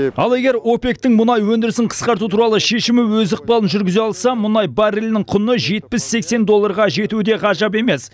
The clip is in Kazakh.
ал егер опек тің мұнай өндірісін қасқарту туралы шемімі өз ықпалын жүргізе алса мұнай баррелінің құны жетпіс сексен долларға жетуі де ғажап емес